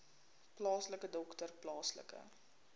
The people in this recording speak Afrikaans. plaaslike dokter plaaslike